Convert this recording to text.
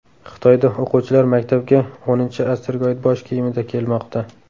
Xitoyda o‘quvchilar maktabga X asrga oid bosh kiyimida kelmoqda.